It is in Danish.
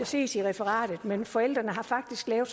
ses i referatet men forældrene har faktisk lavet